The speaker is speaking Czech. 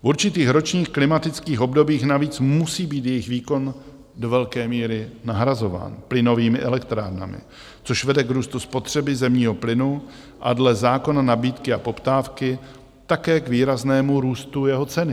V určitých ročních klimatických obdobích navíc musí být jejich výkon do velké míry nahrazován plynovými elektrárnami, což vede k růstu spotřeby zemního plynu a dle zákona nabídky a poptávky také k výraznému růstu jeho ceny.